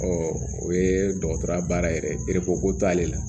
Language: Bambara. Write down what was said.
o ye dɔgɔtɔrɔya baara yɛrɛ ye ko t'ale la